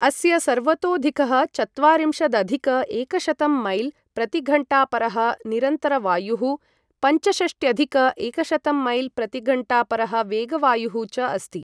अस्य, सर्वतोधिकः चत्वारिंशदधिक एकशतं मैल् प्रतिघण्टापरः निरन्तरवायुः, पञ्चषष्ट्यधिक एकशतं मैल् प्रतिघण्टापरः वेगवायुः च अस्ति।